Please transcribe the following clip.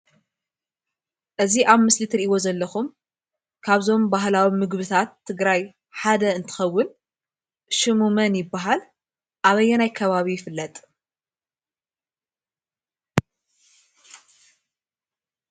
እዚ ኣብ ምስሊ እትርኢዎ ዘለኩም ካብዞም ባህላዊ ምግቢታት ትግራይ ሓደ እንትኸውን፣ ሽሙ መን ይበሃል? ኣበየናይ ከባቢ ይፍለጥ?